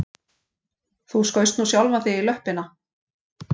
Þú skaust nú sjálfan þig í löppina